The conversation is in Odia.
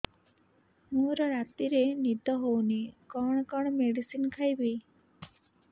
ମୋର ରାତିରେ ନିଦ ହଉନି କଣ କଣ ମେଡିସିନ ଖାଇବି